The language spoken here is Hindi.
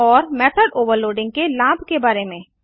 और मेथड ओवरलोडिंग के लाभ के बारे में